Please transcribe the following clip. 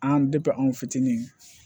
An an fitinin